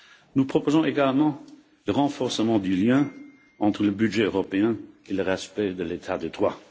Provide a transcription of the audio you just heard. Nous proposons également le renforcement du lien entre le budget européen et le respect de l'état de droit.